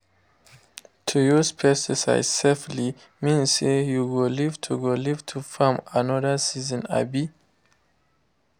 to use pesticide safely mean say you go live to go live to farm another season. um